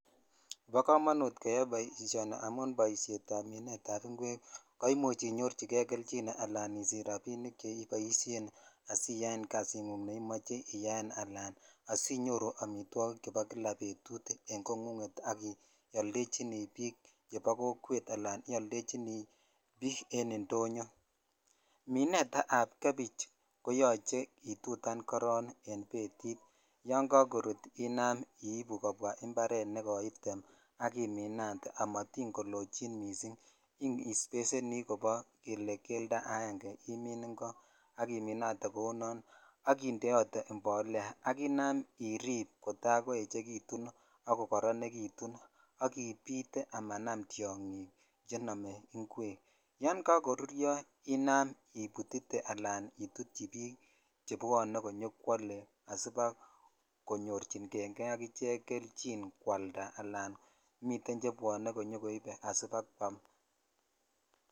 Bo komonut keyai boishoni amun boishet ab minetcab ingwek koimuch inyorchi kei kelchin ala isich rabink cheiboishen asitaen kasingungneimoche iyaen alan asinyoru amitwokik chebo kola betut en kongungak iyoldechini bik che bo kokwet ala ioldechi bik en indonyoo minet ab gebich koyoche itutan koron en betit yon kakorut inam ibuu kobwaa impar nekoitemen ala iminate amatin kolochin missing Isbeseni kildo aenge ak iminatee kou non ak indeote impolea ak inam irip kotakoechekitunak kokoronekitun ak ibitee amanam tyongig chenome ingwek yon kakoruryo ina ibutitee alan itutyi bik chebwone koyo kwole asiba jonyorchi kei kelchin kwalda ala mitem chebwone konyokwole sibakwam.